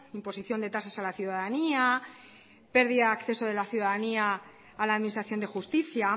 imposición de tasas a la ciudadanía pérdida de acceso de la ciudadanía a la administración de justicia